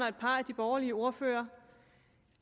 et par af de borgerlige ordførere